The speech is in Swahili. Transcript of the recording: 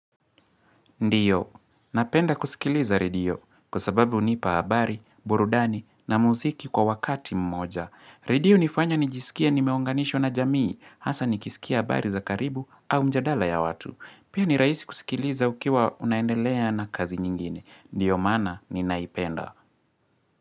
Ndiyo, napenda kusikiliza redio kwa sababu hunipa habari, burudani na muziki kwa wakati mmoja. Radio hunifanya nijisikie nimeunganishwa na jamii, hasa nikisikia habari za karibu au mjadala ya watu. Pia ni rahisi kusikiliza ukiwa unaendelea na kazi nyingine. Ndiyo maana ninaipenda.